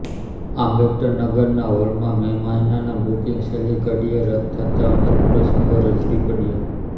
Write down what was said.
આંબેડકરનગરના હોલના મે મહિનાના બુકીંગ છેલ્લી ઘડીએ રદ્દ થતાં અનેક પ્રસંગો રઝળી પડયા